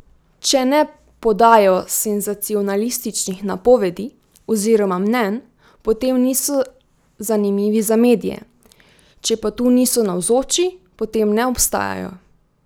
Če ne podajajo senzacionalističnih napovedi oziroma mnenj, potem niso zanimivi za medije, če pa tu niso navzoči, potem ne obstajajo.